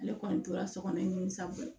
Ale kɔni tora so kɔnɔ ni sabɔ ye